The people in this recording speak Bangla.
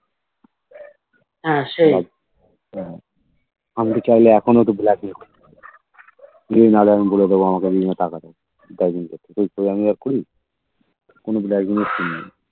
হম আমিতো চাইলে এখনো তো black mail করতে পারি যে নাহলে আমি বলে দাও আমাকে তুমি টাকা দাও কোই আমি আর করি কোনো দিন black mail করিনি